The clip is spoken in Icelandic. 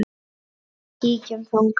Kíktu þangað.